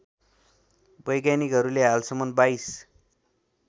वैज्ञानिकहरूले हालसम्म २२